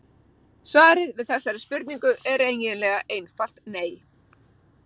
Svarið við þessari spurningu er eiginlega einfalt nei.